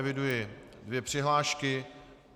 Eviduji dvě přihlášky.